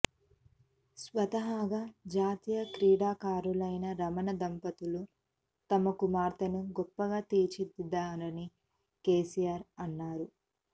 స్వతహాగా జాతీయ క్రీడాకారులైన రమణ దంపతులు తమ కుమార్తెను గొప్పగా తీర్చిదిద్దారని కేసీఆర్ అన్నారు